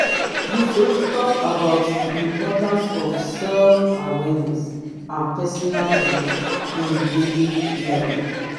you fit talk about di importance of self-awareness and personal growth in daily life.